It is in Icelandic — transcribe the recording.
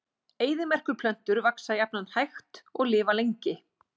Eyðimerkurplöntur vaxa jafnan hægt og lifa lengi.